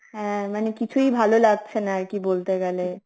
হ্যাঁ মানে কিছুই ভালো লাগছে না আরকি বলতে গেলে